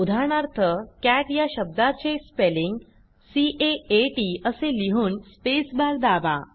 उदाहरणार्थ Catया शब्दाते स्पेलिंग सी A आ T असे लिहून स्पेस बार दाबा